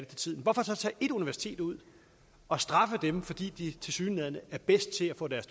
til tiden hvorfor så tage et universitet ud og straffe dem fordi de tilsyneladende er bedst til at få deres